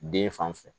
Den fan fɛ